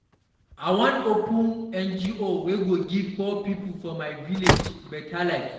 I wan open NGO wey go give poor pipo for my village better life.